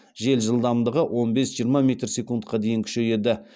жел жылдамдығы он бес жиырма метр секундқа дейін күшейеді